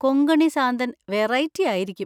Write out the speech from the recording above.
കൊങ്കണി സാന്തൻ വെറൈറ്റി ആയിരിക്കും.